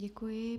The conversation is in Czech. Děkuji.